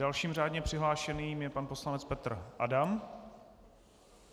Dalším řádně přihlášeným je pan poslanec Petr Adam.